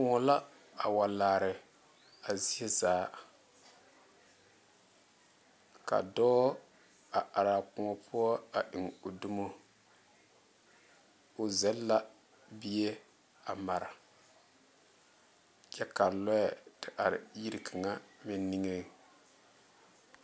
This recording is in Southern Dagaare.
Kõɔ la a wa laare a zie zaa ka dɔɔ a are kõɔ poɔ eŋ o domo o zel la bie a maare kyɛ ka lɔɛ te are yiri kaŋa meŋ niŋe.